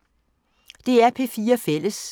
DR P4 Fælles